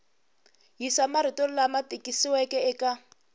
yisa marito lama tikisiweke eka